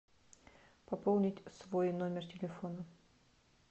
пополнить свой номер телефона